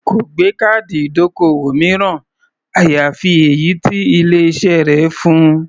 Kò gbé káàdì ìdókòwò mìíràn, àyàfi èyí tí ilé-iṣẹ́ rẹ̀ fun.